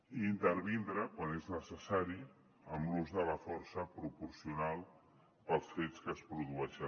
i intervindre quan és necessari amb l’ús de la força proporcional pels fets que es produeixen